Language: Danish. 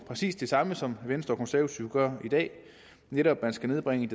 præcis det samme som venstre og konservative gør i dag netop at man skal nedbringe